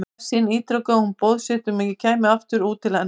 Í hvert skipti ítrekaði hún boð sitt um að ég kæmi aftur út til hennar.